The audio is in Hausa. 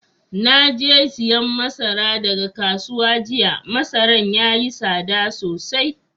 Na je siyan masara daga kasuwa jiya. Masaran yayi sada sosai.